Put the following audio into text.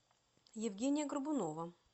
евгения горбунова